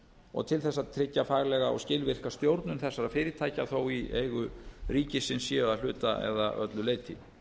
og til að tryggja faglega og skilvirka stjórnun þessara fyrirtækja þó í eigu ríkisins séu að hluta eða öllu leyti